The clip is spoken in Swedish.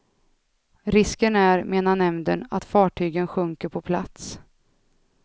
Risken är, menar nämnden, att fartygen sjunker på plats.